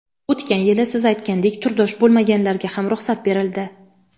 O‘tgan yili siz aytgandek turdosh bo‘lmaganlarga ham ruxsat berildi.